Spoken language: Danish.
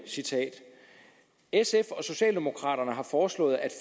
sf og socialdemokraterne har foreslået at